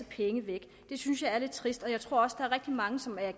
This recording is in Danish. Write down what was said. penge væk det synes jeg er lidt trist jeg tror også er rigtig mange som er